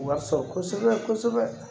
U ka sɔn kosɛbɛ kosɛbɛ